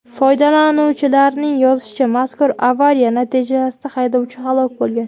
Foydalanuvchilarning yozishicha, mazkur avariya natijasida haydovchi halok bo‘lgan.